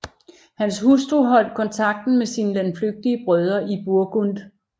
Hans hustru holdt kontakten med sine landflygtige brødre i Burgund